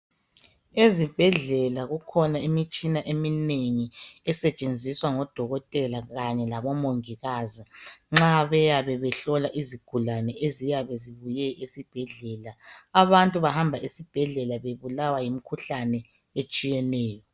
Ezibhedlela kukhona imitshina eminengi esetshenziswa ngodokotela kanye labomongikazi, nxa beyabe behlola izigulane eziyabe zibuye esibhedlela. Abantu bahamba esibhedlela bebulawa yimkhuhlane etshiyeneyo.